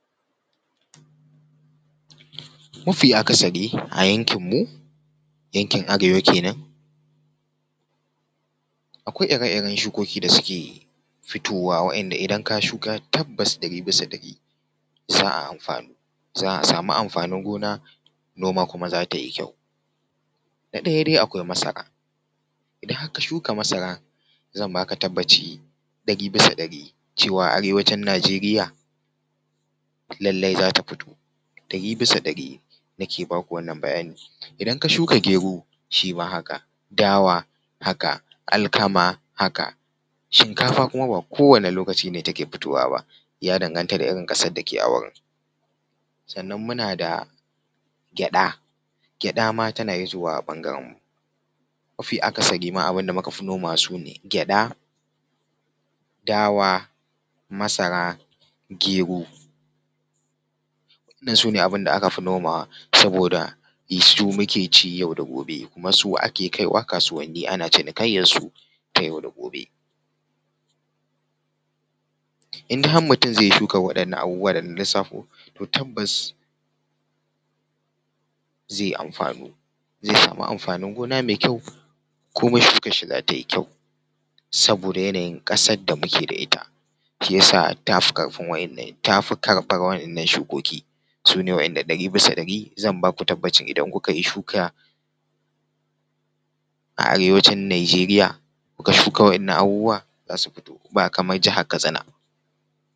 Mafi akasari a yankin mu yankin arewa kenan, akwai ire-iren shukoki da suke fitowa wa’inda idan ka shuka tabbas ɗari bisa ɗari za a amfanu, za a samu amfanin gona, noma kuma zata yi kyau. Na ɗaya dai akwai masara, idan har ka shuka masara zan baka tabbaci ɗari bisa ɗari cewa arewacin Nijeriya lallai zata fito, ɗari bisa ɗari nake baku wannan bayani. Idan ka shuka gero shi ma haka, dawa haka, alkama haka, shinkafa kuma ba kowane lokaci ne take fitowa ba ya danganta da irin ƙasar da ke a wurin. Sannan muna da gyaɗa, gyaɗa ma tana hitowa a ɓangaren mu, mafi akasari ma abin da muka fi nomawa su ne, gyaɗa, dawa, masara, gero. Wannan su ne abin da aka fi nomawa saboda da su muke ci yau da gobe, kuma su ake kaiwa kasuwanni ana cinikayyar su ta yau da gobe. In dai har mutum zai yi shukan abubuwan nan dana lissafo to tabbas zai amfanu, zai samu amfanin gona mai kyau kuma shukar shi za ta yi kyau, saboda yanayin ƙasar da muke da ita shi yasa ta fi karɓan waɗannan shukoki su ne waɗanda ɗari bisa ɗari zan baku tabbacin idan kuka yi shuka a arewacin Nijeriya, kuka shuka wa’innan abubuwawa za su fito, babu kamar jihar katsina.